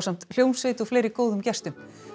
ásamt hljómsveit og fleiri góðum gestum